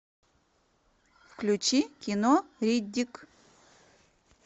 включи кино риддик